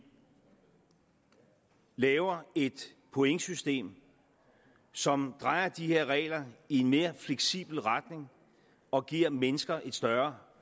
laver et pointsystem som drejer de her regler i en mere fleksibel retning og giver mennesker et større